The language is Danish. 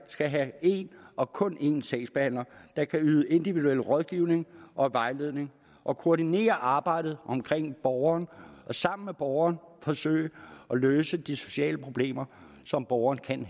skal have én og kun én sagsbehandler der kan yde individuel rådgivning og vejledning og koordinere arbejdet omkring borgeren og sammen med borgeren forsøge at løse de sociale problemer som borgeren kan